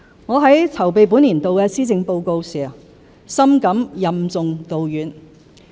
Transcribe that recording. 我在籌備本年度的施政報告時，深感任重道遠。